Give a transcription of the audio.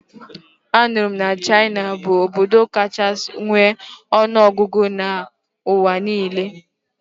Anụrụ m na China bụ obodo kachasi nwe ọnụọgụgụ n'ụwa niile